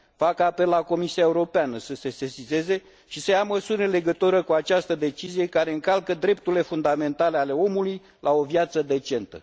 Fac apel la Comisia Europeană să se sesizeze și să ia măsuri în legătură cu această decizie care încalcă drepturile fundamentale ale omului la o viață decentă.